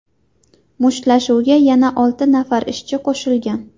Mushtlashuvga yana olti nafar ishchi qo‘shilgan.